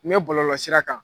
N bɛ bɔlɔlɔsira kan.